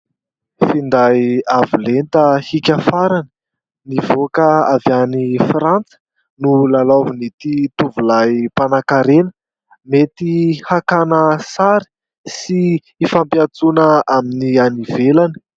Finday avo lenta hiaka farany, nivoaka avy any frantsa no lalaovin'ity tovolahy mpanankarena mety hakana sary sy hifampiatsoana amin'ny any ivelany.